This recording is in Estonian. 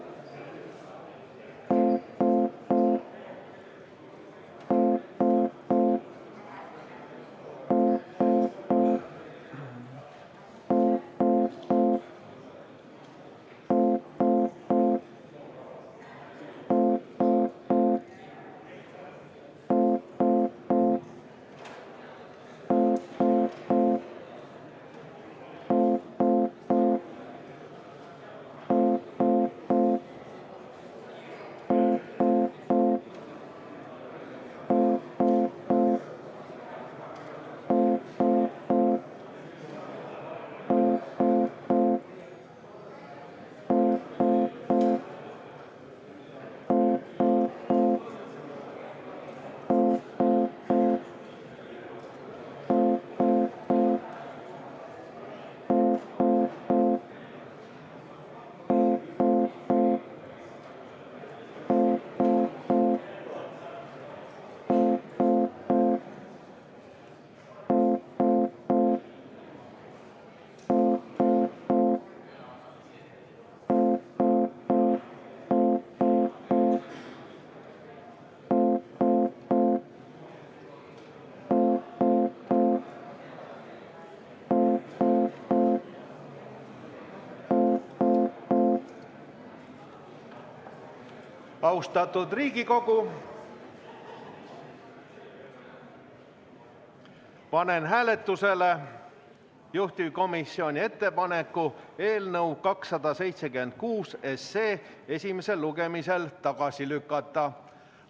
Austatud Riigikogu, panen hääletusele juhtivkomisjoni ettepaneku eelnõu 276 esimesel lugemisel tagasi lükata.